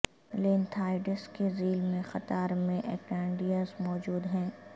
lanthanides کے ذیل میں قطار میں ایکٹینڈائڈز موجود ہیں